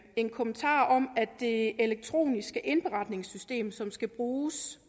en kommentar om at det elektroniske indberetningssystem som skal bruges